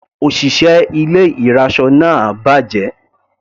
Òṣìṣẹ́ ilé ìraṣọ náà bàjẹ́.